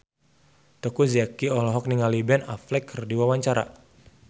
Teuku Zacky olohok ningali Ben Affleck keur diwawancara